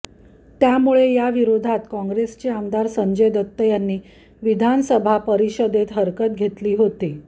त्यामुळे या विरोधात काँग्रेसचे आमदार संजय दत्त यांनी विधान परिषदेत हरकत घेतली होती